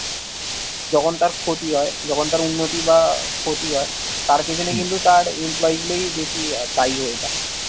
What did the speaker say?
যখন তার ক্ষতি হয় যখন তার উন্নতি বা ক্ষতি হয় তার পেছনে কিন্তু তার employee গুলোই বেশি দায়ী হয়ে থাকে